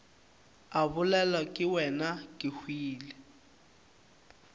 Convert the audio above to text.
a bolelwa ke wena kehwile